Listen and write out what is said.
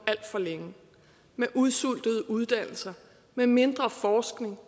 med udsultede uddannelser med mindre forskning